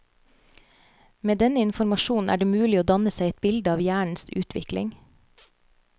Med denne informasjonen er det mulig å danne seg et bilde av hjernens utvikling.